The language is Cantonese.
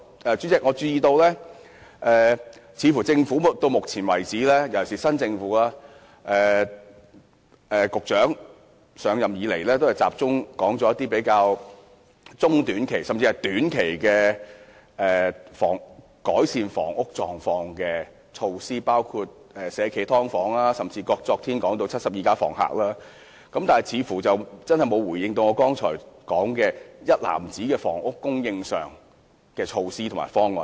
主席，我注意到新政府的局長上任以來，都集中談中短期的改善房屋問題的措施，包括引入"社企劏房"，昨天又談到"七十二家房客"，沒有提及我剛才提到的房屋供應上的一籃子措施和方案。